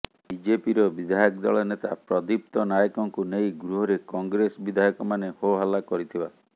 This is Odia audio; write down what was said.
ବିଜେପିର ବିଧାୟକ ଦଳ ନେତା ପ୍ରଦୀପ୍ତ ନାୟକଙ୍କୁ ନେଇ ଗୃହରେ କଂଗ୍ରେସ ବିଧାୟକମାନେ ହୋହାଲ୍ଲା କରିଥିବା